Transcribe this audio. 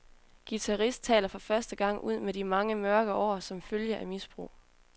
Guitarist taler for første gang ud om de mange mørke år som følge af misbrug.